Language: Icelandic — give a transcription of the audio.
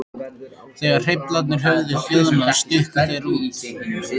Þegar hreyflarnir höfðu hljóðnað stukku þeir út.